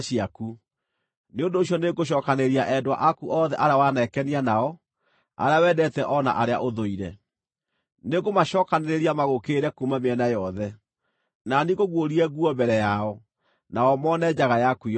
nĩ ũndũ ũcio nĩngũcookanĩrĩria endwa aku othe arĩa wanekenia nao, arĩa wendete o na arĩa ũthũire. Nĩngũmacookanĩrĩria magũũkĩrĩre kuuma mĩena yothe, na niĩ ngũguũrie nguo mbere yao, nao mone njaga yaku yothe.